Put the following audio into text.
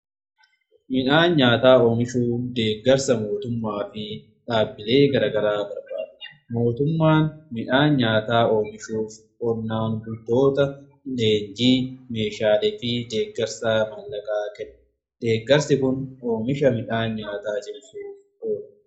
Midhaan nyaataa oomishuu deeggarsa mootummaa fi dhaabbilee garagaraa barbaada. Mootummaan midhaan nyaataa oomishuuf qonnaan bultoota leenjii meeshaale fi deeggarsa maallaqaa kennee deeggarsi kun oomisha midhaan nyaataaf oola.